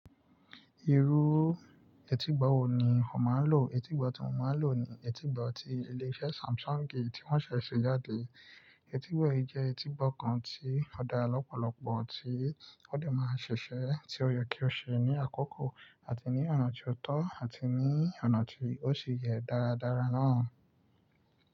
Irú etígbo wo ni ó máa ń lò? Etígbo tí mò ń lò ni etígbo ti ilé iṣẹ́ Samsung tí wọ́n ṣẹ̀ ṣe jáde. Etígbo yìí jẹ́ etígbo kan tí ó dára lọ́pọ̀lọpọ̀, tí ó lè máa ṣẹ̀ṣẹ̀, tí ó yẹ kí ó ṣe ní àkókò àti ní ọ̀nà tó tọ́ àti ní ọ̀nà tí ó ṣe yẹ dáradára náà.